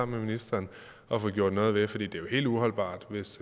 ministeren at få gjort noget ved for det er jo helt uholdbart